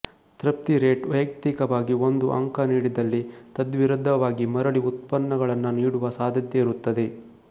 ತೃಪ್ತಿ ರೇಟ್ ವೈಯಕ್ತಿಕವಾಗಿ ಒಂದು ಅಂಕ ನಿಡಿದಲ್ಲಿ ತದ್ವಿರುದ್ಧವಾಗಿಮರಳಿ ಉತ್ಪನ್ನಗಳನ್ನ ನಿಡುವ ಸಾಧ್ಯತೆಯಿರುತ್ತದೆ